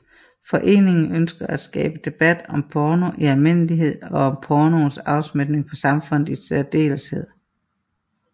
Foreningen ønsker at skabe debat om porno i almindelighed og om pornoens afsmitning på samfundet i særdeleshed